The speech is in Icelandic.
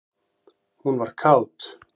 Hún var kát.